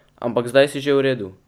Ampak zdaj si že v redu.